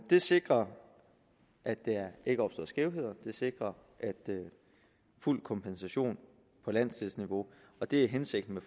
det sikrer at der ikke opstår skævheder det sikrer fuld kompensation på landsdelsniveau og det er hensigten